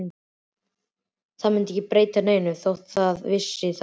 Það myndi ekki breyta neinu þótt það vissi það.